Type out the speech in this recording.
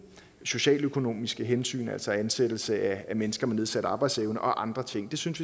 socialøkonomiske hensyn altså ansættelse af mennesker med nedsat arbejdsevne og andre ting vi synes